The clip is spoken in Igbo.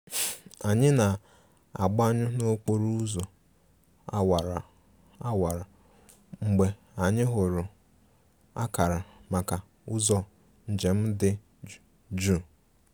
Anyị na-agbanyụ n'okporo ụzọ awara awara mgbe anyị hụrụ akara maka ụzọ njem dị jụụ